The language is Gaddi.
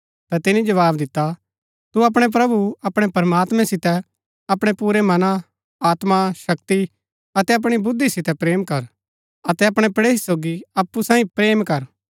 ता तिनी जवाव दिता तु अपणै प्रभु अपणै प्रमात्मैं सितै अपणै पुरै मनां आत्मा शक्ति अतै अपणी बुद्धि सितै प्रेम कर अतै अपणै पड़ेही सोगी अप्पु सैईं प्रेम कर